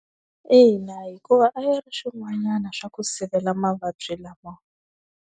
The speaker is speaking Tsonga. Ina hikuva a yi ri swin'wanyana swa ku sivela mavabyi lama.